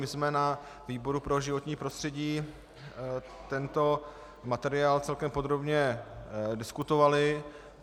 My jsme na výboru pro životní prostřední tento materiál celkem podrobně diskutovali.